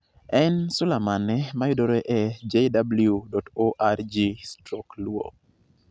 En sula mane ma yudore e jw.org/luo?